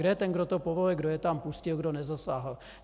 Kdo je ten, kdo to povolil, kdo je tam pustil, kdo nezasáhl?